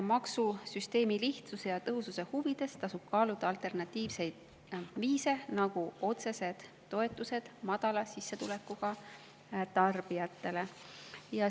Maksusüsteemi lihtsuse ja tõhususe huvides tasub kaaluda alternatiivseid, nagu otsesed toetused madala sissetulekuga tarbijatele.